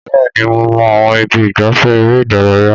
Bẹ́ẹ̀ ni, mo mọ àwọn ibi ìgbafẹ́ eré ìdárayá